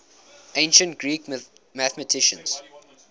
ancient greek mathematicians